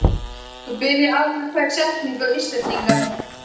þú byrjar aðra hverja setningu á Íslendingar.